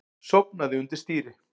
Sofnaði undir stýri